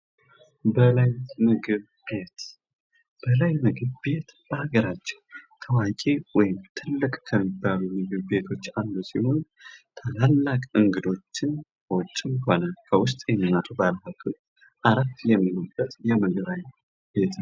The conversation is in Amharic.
በላይ ምግብ ቤት በላይ ምግብ ቤት በሀገራችን ታዋቂ ወይም ትልቅ ምግብ ቤት ውስጥ አንዱ ሲሆን ታላላቅ እንግዶችን የሚቀበሉበት ትልቅ ምግብ ቤት ነው።